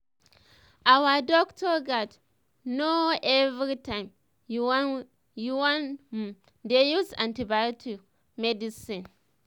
ur doctor gats know everytime u wan um dey use antibiotics um medicine um